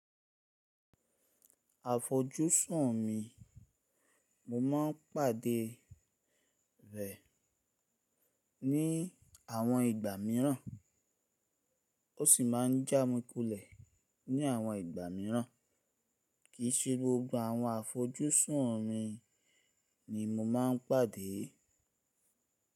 Àfojúsùn mi, mo ma n pàdé rẹ̀ ní àwọn ìgbà míràn ó sì ma n já mi kulẹ̀ ní àwọn ìgbà míràn. Kì í sí gbogbo àwọn àfojúsùn mi ni mo ma n pàdé.